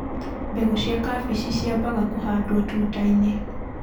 mbegũ cia kabeci ciamabaga kũhandwo tutainĩ.